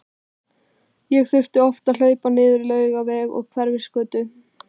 Ég þurfti oft að hlaupa niður á Laugaveg og Hverfisgötu.